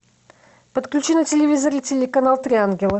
подключи на телевизоре телеканал три ангела